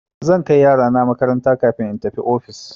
Zan kai yarana makaranta kafin in tafi ofis.